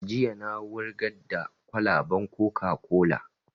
Jiya na wurgar da kwalaban coca-cola